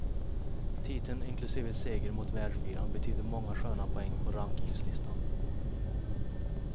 Titeln inklusive seger mot världsfyran betyder många sköna poäng på rankingslistan.